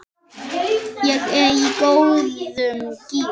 Ég er í góðum gír.